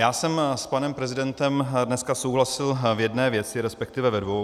Já jsem s panem prezidentem dneska souhlasil v jedné věci, respektive ve dvou.